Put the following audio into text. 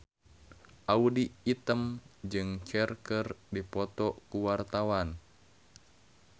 Audy Item jeung Cher keur dipoto ku wartawan